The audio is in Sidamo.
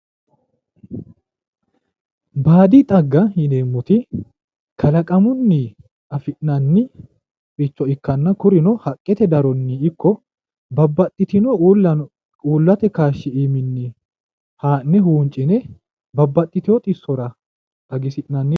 Baadi xaagga yineemmoti kalaqamunni afi'nanniricho ikkanna kuri"u haqqete datonni ikko babbaxxitino uullate kaashshi aani ha'ne huunci'ne babbaxxitewo xissora xagisi'nanni